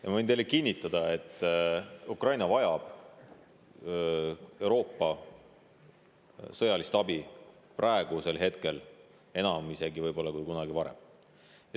Ja ma võin teile kinnitada, et Ukraina vajab Euroopa sõjalist abi praegu isegi enam kui kunagi varem.